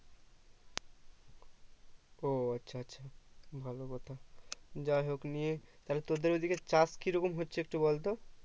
ও আচ্ছা আচ্ছা ভালো কথা যাইহোক নিয়ে তাহলে তোদের ওদিকে চাষ কি রকম হচ্ছে একটু বলতো